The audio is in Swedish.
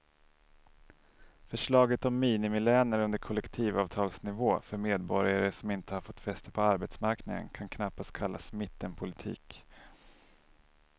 Förslaget om minimilöner under kollektivavtalsnivå för medborgare som inte har fått fäste på arbetsmarknaden kan knappast kallas mittenpolitik.